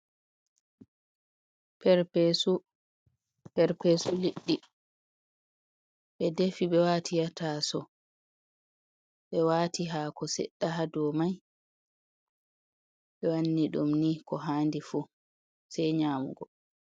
Perpesu, perpesu liɗɗi. Ɓe defi ɓe waati ha tasawo, ɓe wati hako sedda ha dou mai. Ɓe wanni ɗum ni ko handi fu sai nyamugo.